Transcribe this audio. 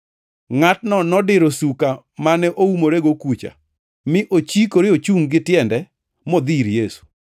Ngʼatno nodiro suka mane oumorego kucha, mi ochikore ochungʼ gi tiende modhi ir Yesu.